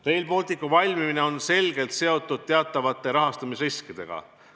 Rail Balticu valmimine on selgelt seotud teatavate rahastamisriskidega.